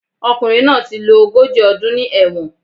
Ọkùnrin náà ti lo ogójì ọdún ní ẹ̀wọ̀n